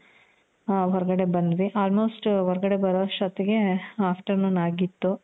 ಹೊರಗಡೆ ಬಂದ್ವಿ. almost ಹೊರಗಡೆ ಬರೋಅಷ್ಟೊತ್ಗೆ afternoon ಅಗಿತ್ತು.